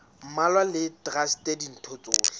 mmalwa le traste ditho tsohle